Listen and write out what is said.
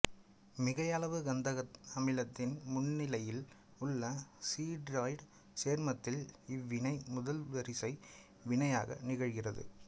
மிகையளவு கந்தக அமிலத்தின் முன்னிலையில் உள்ள சிடீராய்டு சேர்மத்தில் இவ்வினை முதல்வரிசை வினையாக நிகழ்கிறது